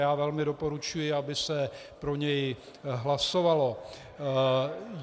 Já velmi doporučuji, aby se pro něj hlasovalo.